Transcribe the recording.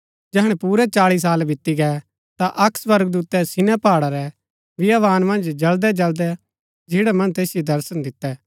जैहणै पुरै चाळी साल बीती गै ता अक्क स्वर्गदूतै सीनै पहाड़ा रै बियावान मन्ज जळदैजळदै झिन्ड़ा मन्ज तैसिओ दर्शन दितै